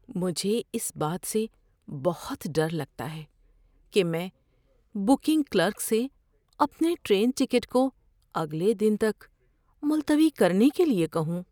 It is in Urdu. مجھے اس بات سے بہت ڈر لگتا ہے کہ میں بکنگ کلرک سے اپنے ٹرین ٹکٹ کو اگلے دن تک ملتوی کرنے کے لیے کہوں۔